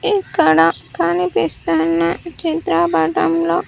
ఇక్కడ కనిపిస్తున్న చిత్రపటంలో.